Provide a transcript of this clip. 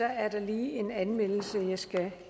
er der lige en anmeldelse jeg skal